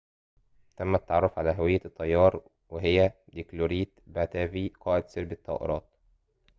تم التعرف على هوية الطيار وهي ديلوكريت باتافي قائد سرب الطائرات